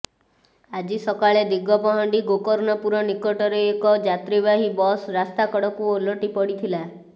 ଆଜି ସକାଳେ ଦିଗପହଣ୍ଡି ଗୋକର୍ଣ୍ଣପୁର ନିକଟରେ ଏକ ଯାତ୍ରାବାହୀ ବସ୍ ରାସ୍ତାକଡ଼କୁ ଓଲଟି ପଡ଼ିଥିଲା